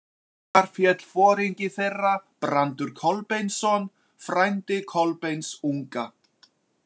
Þar féll foringi þeirra, Brandur Kolbeinsson, frændi Kolbeins unga.